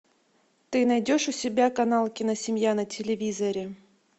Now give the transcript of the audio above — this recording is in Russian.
ты найдешь у себя канал киносемья на телевизоре